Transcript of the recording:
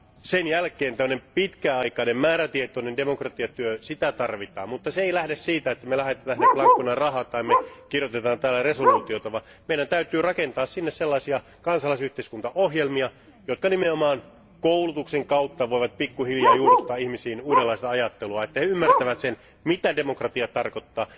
Sen jälkeen tällainen pitkäaikainen määrätietoinen demokratiatyö, sitä tarvitaan, mutta se ei lähde siitä, että me lähetämme sinne blankona rahaa tai me kirjoitamme täällä päätöslauselmia, vaan meidän täytyy rakentaa sinne sellaisia kansalaisyhteiskuntaohjelmia, jotka nimenomaan koulutuksen kautta voivat pikkuhiljaa juurruttaa ihmisiin uudenlaista ajattelua, että he ymmärtävät sen, mitä demokratia tarkoittaa?